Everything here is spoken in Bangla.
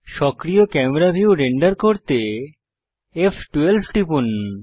সক্রিয় ক্যামেরা ভিউ রেন্ডার করতে ফ12 টিপুন